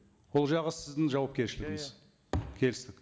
ол жағы сіздің жауапкершілігіңіз иә иә келістік